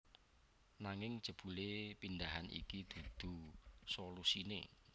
Nanging jebule pindhahan iki dudu solusine